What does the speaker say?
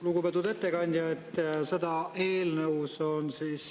Lugupeetud ettekandja!